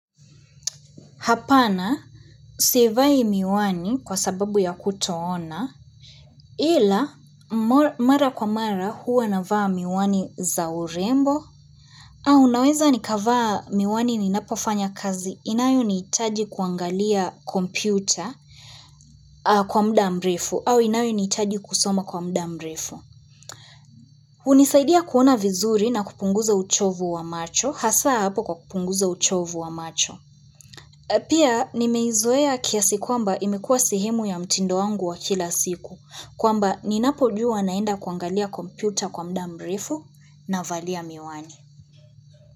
Hapana, sivai miwani kwa sababu ya kutoona, ila mara kwa mara huwa navaa miwani za urembo, au naweza nikavaa miwani ninapofanya kazi, inayo ni itaji kuangalia kompyuta kwa muda mrefu, au inayo ni hitaji kusoma kwa muda mrefu. Unisaidia kuona vizuri na kupunguza uchovu wa macho, hasa hapo kwa kupunguza uchovu wa macho. Pia nimeizoea kiasi kwamba imekua sehemu ya mtindo wangu wa kila siku kwamba ninapo jua naenda kuangalia kompyuta kwa muda mrefu navalia miwani.